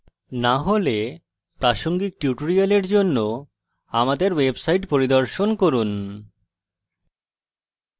না হলে প্রাসঙ্গিক tutorial জন্য আমাদের website পরিদর্শন করুন